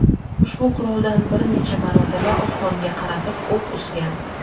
ushbu quroldan bir necha marotaba osmonga qaratib o‘q uzgan.